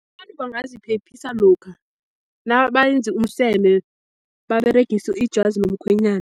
Abantu bangaziphephisa lokha nabayenza umseme, baberegise ijazi lomkhwenyana.